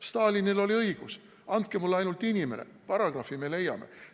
Stalinil oli õigus: andke mulle ainult inimene, paragrahvi me leiame.